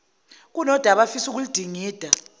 kunodaba afisa ukuludingida